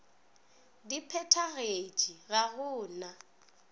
di phethagatše ga go na